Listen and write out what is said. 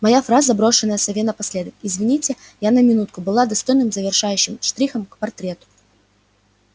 моя фраза брошенная сове напоследок извините я на минутку была достойным завершающим штрихом к портрету